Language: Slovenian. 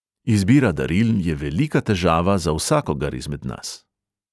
Izbira daril je velika težava za vsakogar izmed nas.